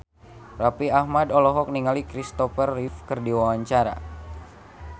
Raffi Ahmad olohok ningali Christopher Reeve keur diwawancara